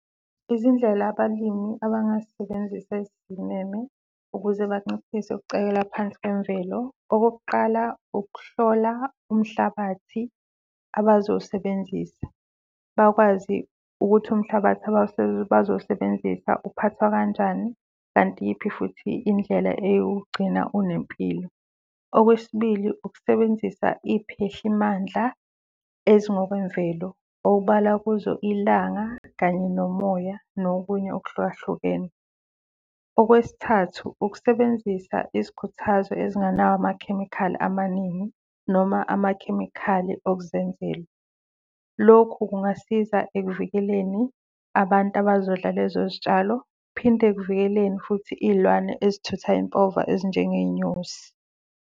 Izindlela abalimi abangazisebenzisa ezisimeme ukuze banciphise ukucekela phansi kwemvelo. Okokuqala, ukuhlola umhlabathi abazowusebenzisa, bakwazi ukuthi umhlabathi bazowusebenzisa uphathwa kanjani kanti iyiphi futhi indlela eyokuwugcina unempilo. Okwesibili, ukusebenzisa iy'phehlimandla ezingokwemvelo obala kuzo ilanga kanye nomoya nokunye okuhlukahlukene. Okwesithathu, ukusebenzisa izikhuthazo ezingenawo amakhemikhali amaningi noma amakhemikhali okuzenzela. Lokho kungasiza ekuvikeleni abantu abazodla lezo zitshalo, uphinde ekuvikeleni futhi iy'lwane ezithutha impova ezinjengey'nyosi.